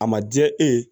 A ma diya e ye